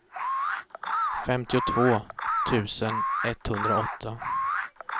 femtiotvå tusen etthundraåtta